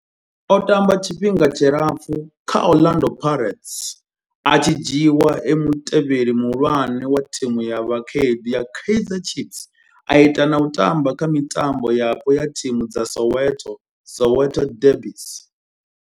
O tamba tshifhinga tshilapfhu kha Orlando Pirates, a tshi dzhiiwa e mutevheli muhulwane wa thimu ya vhakhaedu ya Kaizer Chiefs, a ita na u tamba kha mitambo yapo ya thimu dza Soweto Soweto derbies.